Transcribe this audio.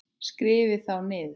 Skrifið þá niður.